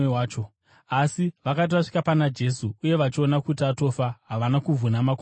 Asi vakati vasvika pana Jesu, uye vachiona kuti atofa, havana kuvhuna makumbo ake.